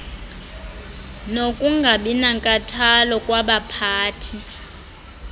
nokungabi nankathalo kwabaphathi